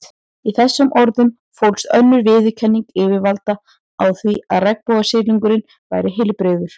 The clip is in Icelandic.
Í þessum orðum fólst önnur viðurkenning yfirvalda á því að regnbogasilungurinn væri heilbrigður.